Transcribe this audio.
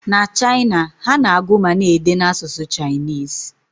Na China, ha na-agụ ma na-ede n'asụsụ Chinese